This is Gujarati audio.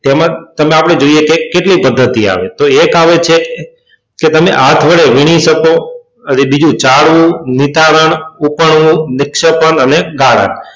તો તેમાં આપણે જોઈએ કેટલી પદ્ધતિ આવે છે તો તેમાં એક આવે છે કે તમે હાથ વડે વીણી શકો. પછી બીજું ચાળવું નિતારવું ઊપણવું, નિક્ષેપણ અને ગાળણ.